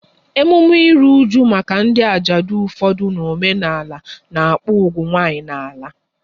Emume ịrụ ụju maka ndị ajadu n'ufodu omenala n'akpu ugwu nwanyị n'ala